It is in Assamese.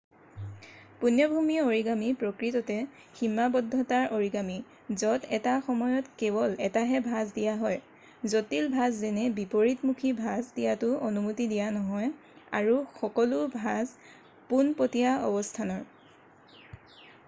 পূণ্যভূমি অৰিগামী প্ৰকৃততে সীমাবদ্ধতাৰ অৰিগামী য'ত এটা সময়ত কেৱল এটাহে ভাঁজ দিয়া হয় জটিল ভাঁজ যেনে বিপৰীতমুখী ভাঁজ দিয়াটো অনুমতি দিয়া নহয় আৰু সকলো ভাঁজ পোনপটীয়া অৱস্থানৰ